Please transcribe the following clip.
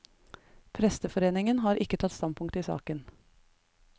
Presteforeningen har ikke tatt standpunkt i saken.